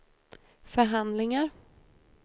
förhandlingar